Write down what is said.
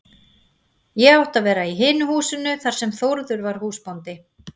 Ég átti að vera í hinu húsinu þar sem Þórður var húsbóndi.